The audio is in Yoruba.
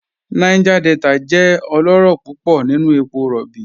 Niger Delta jẹ ọlọrọ púpọ̀ nínu èpò róbí.